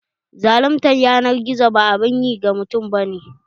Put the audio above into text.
Zaluntar yanar gizo ba abun yi ga mutum ba ne.